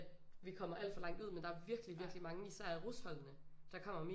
Vi kommer alt for langt ud men der er virkelig virkelig mange især i rusholdene der kommer